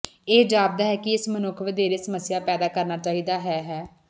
ਇਹ ਜਾਪਦਾ ਹੈ ਕਿ ਇਸ ਮਨੁੱਖ ਵਧੇਰੇ ਸਮੱਸਿਆ ਪੈਦਾ ਕਰਨਾ ਚਾਹੀਦਾ ਹੈ ਹੈ